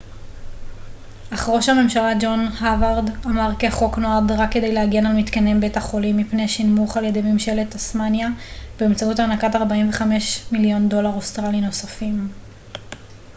אך ראש הממשלה ג'ון האוורד אמר כי החוק נועד רק כדי להגן על מתקני בית החולים מפני שנמוך על ידי ממשלת טסמניה באמצעות הענקת 45 מיליון דולר אוסטרלי נוספים